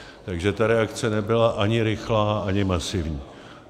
Takže ta reakce nebyla ani rychlá, ani masivní.